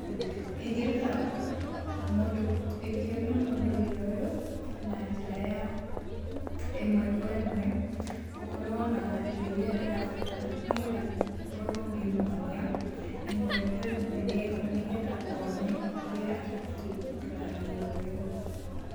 Ingĩruta mũndũ, ingĩonia mũndũ wĩra ũyũ na njĩra ya ĩmwe kwa ĩmwe. Gũkorũo na indo iria ndĩrabatara nĩgetha ngorũo ngĩmwonia ĩmwe kwa ĩmwe eho nĩgetha one ũrĩa abatiĩ kũruta wĩra ũyũ.